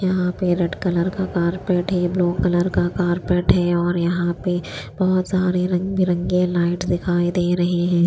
यहां पे red colour का कारपेट है ब्लू कलर का कारपेट है और यहां पे बहुत सारे रंग बिरंगे लाइट दिखाई दे रहे हैं।